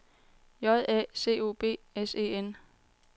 J A C O B S E N